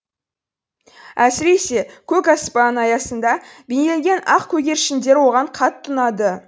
әсіресе көк аспан аясында бейнеленген ақ көгершіндер оған қатты ұнады